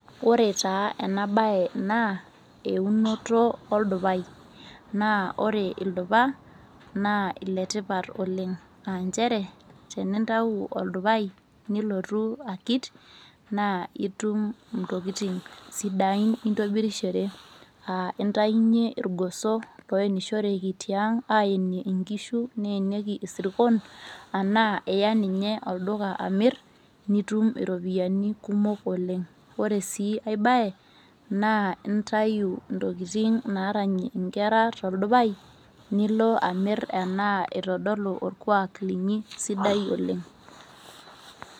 Ore taa ena baye naa eunoto oldupai naa ore ildupa naa iletipat oleng' aa nchere tenintau oldupai nilotu akit naa itum intokitin sidain nintobirishore aa intayunyie irgoso oenishoreki tiang' aeniie nkishu neenieki isirkon enaa iya ninye olduka alo amirr nitum iropiyiani kumok oleng', ore sii ai baye naa intayu intokitin naaranyie inkera toldupai nilo amirr enaa itodolu orkuaak linyi sidai oleng'.